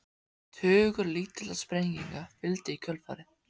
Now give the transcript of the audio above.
Tugur lítilla sprenginga fylgdi í kjölfarið.